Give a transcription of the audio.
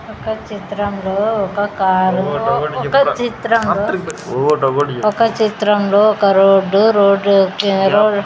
ఒక చిత్రంలో ఒక కారు ఒక చిత్రంలో ఒక చిత్రంలో ఒక రోడ్డు రోడ్లో కి --